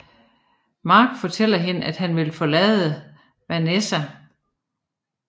Mark fortæller hende at han vil forlade Vanessa